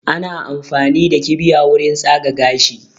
Ana amfani da kibiya wurin tsaga gashi